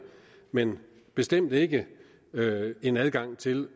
men bestemt ikke en adgang til